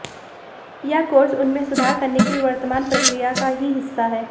यह कोर्स उनमें सुधार करने की वर्तमान प्रक्रिया का ही हिस्सा है